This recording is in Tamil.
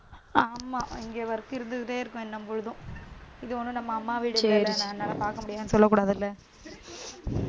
ஆமா இங்க work இருந்துக்கிட்டே இருக்கும் இன்னும் பொழுதும். இது ஒண்ணும் நம்ம அம்மா வீட்டுல என்னால பாக்க முடியாதுன்னு சொல்லக்கூடாதுல்ல